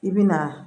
I bi na